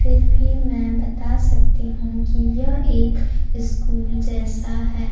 फिर भी मैं बता सकती हूं कि यह एक स्कूल जैसा है।